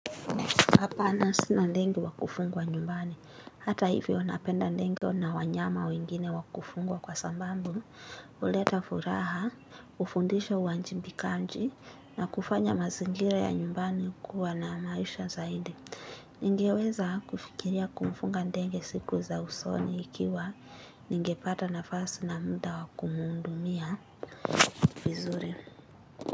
Hapana sina ndege wa kufugwa nyumbani. Hata hivyo napenda ndege na wanyama wengine wa kufugwa kwa sababu huleta furaha, hufundisha uwajibikaji, na kufanya mazingira ya nyumbani kuwa na maisha zaidi. Ningeweza kufikiria kumfuga ndege siku za usoni ikiwa ningepata nafasi na muda wa kumuhudumia vizuri.